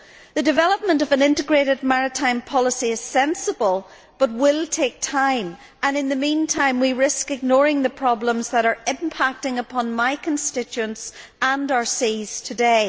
The development of an Integrated Maritime Policy is sensible but will take time, and in the meantime we risk ignoring the problems that are impacting upon my constituents and our seas today.